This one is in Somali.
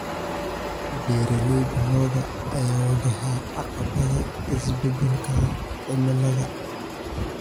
Beeralayda lo'da ayaa wajahaya caqabadaha isbeddelka cimilada.